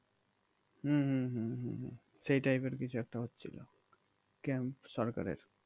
হম হম হম হম হম সেই type এর কিছু একটা হচ্ছিলো camp সরকারের